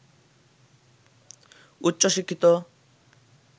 উচ্চ শিক্ষিত